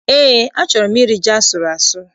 Eé, achọrọ m iri ji asụrụ asụ.